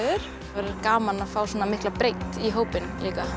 verður gaman að fá svona mikla breidd í hópinn